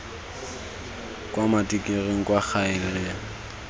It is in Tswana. kwa matikiring kwa gae re